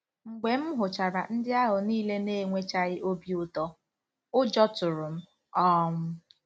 Mgbe m hụchara ndị ahụ niile na-enwechaghị obi ụtọ, ụjọ tụrụ m. um